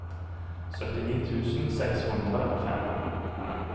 syttini tusen seks hundre og fem